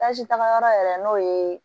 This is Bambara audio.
tagayɔrɔ yɛrɛ n'o ye